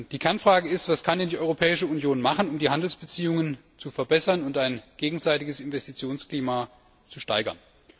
Die Kernfrage ist Was kann denn die Europäische Union tun, um die Handelsbeziehungen zu verbessern und ein gegenseitiges Investitionsklima zu steigern?